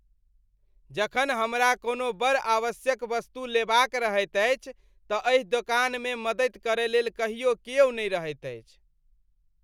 जखनो हमरा कोनो बड़ आवश्यक वस्तु लेबाक रहैत अछि तँ एहि दोकानमे मदति करयलेल कहियो क्यो नहि रहैत अछि।